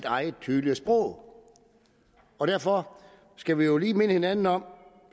eget tydelige sprog og derfor skal vi jo lige minde hinanden om